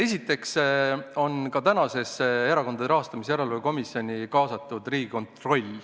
Esiteks on ka praegusesse Erakondade Rahastamise Järelevalve Komisjoni kaasatud Riigikontroll.